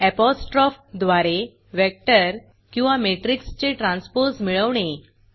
apostrophe द्वारे vector किंवा मॅट्रिक्सचे ट्रान्सपोज मिळवणे